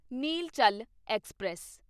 Nilachal express